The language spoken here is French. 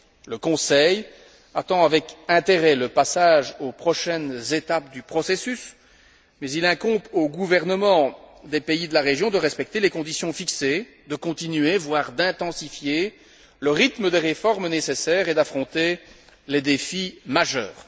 Le Conseil attend avec intérêt le passage aux prochaines étapes du processus mais il incombe aux gouvernements des pays de la région de respecter les conditions fixées, de continuer voire d'intensifier le rythme des réformes nécessaires et d'affronter les défis majeurs.